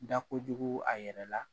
Da ko jugu a yɛrɛ la